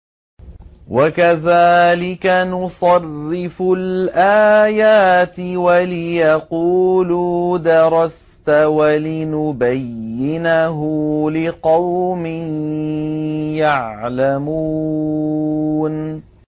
وَكَذَٰلِكَ نُصَرِّفُ الْآيَاتِ وَلِيَقُولُوا دَرَسْتَ وَلِنُبَيِّنَهُ لِقَوْمٍ يَعْلَمُونَ